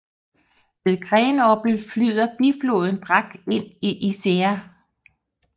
Ved Grenoble flyder bifloden Drac ind i Isére